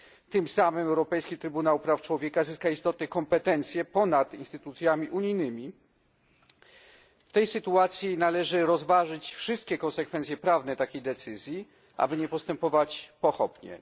Tym samym Europejski Trybunał Praw Człowieka zyska istotne kompetencje ponad instytucjami unijnymi. W tej sytuacji należy rozważyć wszystkie konsekwencje prawne takiej decyzji, aby nie postępować pochopnie.